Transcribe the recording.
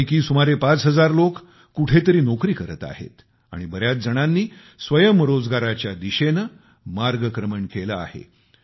यापैकी सुमारे पाच हजार लोक कुठेतरी नोकरी करत आहेत आणि बऱ्याच जणांनी स्वयंरोजगाराच्या दिशेने मार्गक्रमण केले आहे